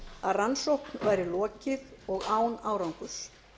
að rannsókn væri lokið og án árangurs